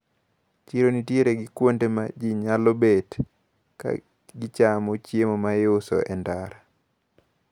Chiro nitiere gi kuonde ma ji nyalo bet kagichamo chiemo maiuso e ndara.